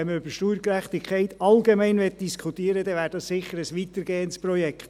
Wenn man über Steuergerechtigkeit allgemein diskutieren möchte, wäre dies sicher ein weitergehendes Projekt.